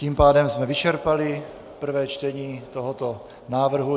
Tím pádem jsme vyčerpali prvé čtení tohoto návrhu.